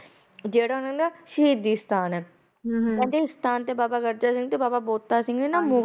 ਜਿਹੜਾ ਉਹ ਸ਼ਹੀਦੀ ਅਸਥਾਨ ਹੈ ਕਹਿੰਦੇ ਇਸ ਸਥਾਨ ਤੇ ਬਾਬਾ ਬੰਤਾ ਸਿੰਘ ਤੇ ਬਾਬਾ ਬੰਤਾ ਸਿੰਘ ਮੁਗਲ ਰਾਜ